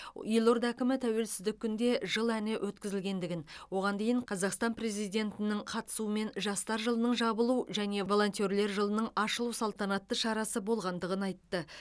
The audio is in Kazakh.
елорда әкімі тәуелсіздік күнінде жыл әні өткізілгендігін оған дейін қазақстан президентінің қатысуымен жастар жылының жабылу және волентерлер жылының ашылу салтанатты шарасы болғандығын айтты